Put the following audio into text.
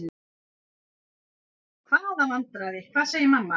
Hvaða vandræði, hvað segir mamma?